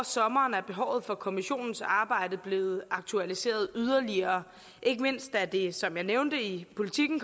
sommeren er behovet for kommissionens arbejde blevet aktualiseret yderligere ikke mindst da det som jeg nævnte i politiken